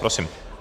Prosím.